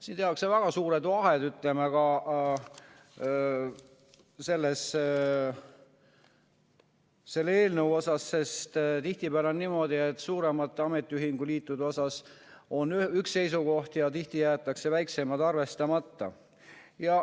Siin tehakse väga suured vahed ka selle eelnõu puhul, sest tihtipeale on niimoodi, et suurematel ametiühinguliitudel on üks seisukoht ja väiksemad jäetakse arvestamata.